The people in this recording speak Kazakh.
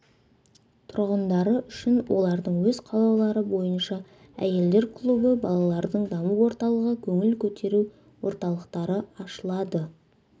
тұрғындары үшін олардың өз қалаулары бойынша әйелдер клубы балалардың даму орталығы көңіл көтеру орталықтары ашылады